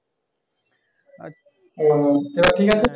ও এবার ঠিক আছে?